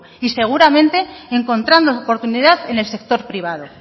y seguramente encontrando oportunidad en el sector privado